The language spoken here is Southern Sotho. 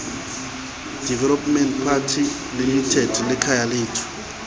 developments pty limited le khayalethu